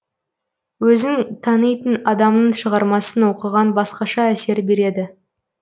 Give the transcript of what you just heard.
өзің танитын адамның шығармасын оқыған басқаша әсер береді